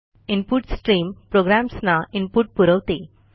input stream प्रोग्रॅम्सना input पुरवते